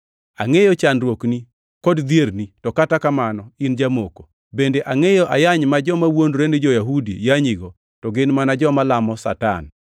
Angʼeyo chandruokni kod dhierni to kata kamano in jamoko. Bende angʼeyo ayany ma joma wuondore ni jo-Yahudi yanyigo to gin mana joma lamo Satan.